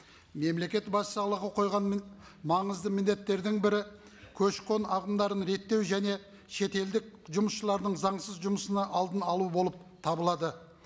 мемлекет басшысы аулаға қойған маңызды міндеттердің бірі көші қон ағымдарын реттеу және шетелдік жұмысшылардың заңсыз жұмысының алдын алу болып табылады